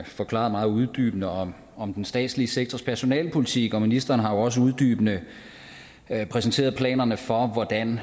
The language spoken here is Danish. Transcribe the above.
forklaret meget uddybende om om den statslige sektors personalepolitik og ministeren har også uddybende præsenteret planerne for hvordan